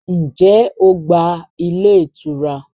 Ǹjẹ́ o gba ilé ìtura?